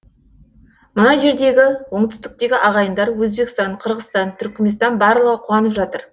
мына жердегі оңтүстіктегі ағайындар өзбекстан қырғызстан түрікменстан барлығы қуанып жатыр